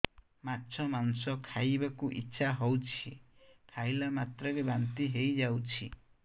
ମାଛ ମାଂସ ଖାଇ ବାକୁ ଇଚ୍ଛା ହଉଛି ଖାଇଲା ମାତ୍ରକେ ବାନ୍ତି ହେଇଯାଉଛି